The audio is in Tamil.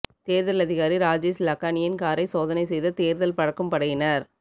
தேர்தல் அதிகாரி ராஜேஷ் லக்கானியின் காரை சோதனை செய்த தேர்தல் பறக்கும் படையினர்